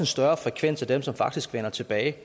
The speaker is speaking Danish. større frekvens af dem som faktisk vender tilbage